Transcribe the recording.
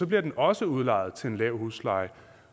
bliver den også udlejet til en lav husleje